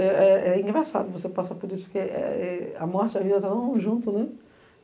É engraçado você passar por isso, porque a morte e a vida estavam juntos, né?